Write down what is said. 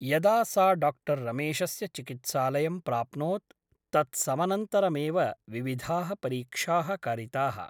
यदा सा डाक्टर् रमेशस्य चिकित्सालयं प्राप्नोत् तत्समनन्तरमेव विविधाः परीक्षाः कारिताः ।